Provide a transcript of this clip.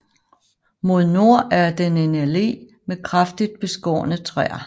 Mod nord er den en allé med kraftigt beskårne træer